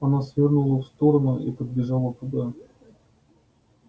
она свернула в сторону и подбежала туда